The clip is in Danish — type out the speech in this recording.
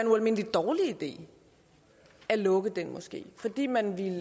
ualmindelig dårlig idé at lukke den moské fordi man ville